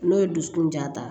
N'o ye dusukun ja ta